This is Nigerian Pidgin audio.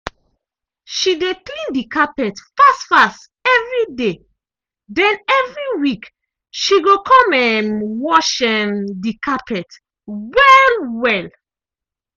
she dey clean the carpet fast -fast evriday den evri week she go um wash um the carpet well-well.